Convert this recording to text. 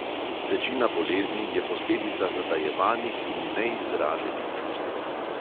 Večina bolezni je posledica zatajevanih in neizraženih čustev.